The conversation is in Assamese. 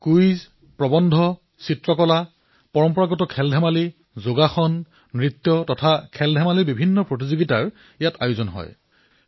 ইয়াত কুইজ প্ৰৱন্ধ চিত্ৰাংকন পাৰম্পৰিক আৰু স্থানীয় ক্ৰীড়া যোগাসন নৃত্য খেল প্ৰতিযোগিতা আদিও অন্তৰ্ভুক্ত কৰা হয়